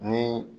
Ni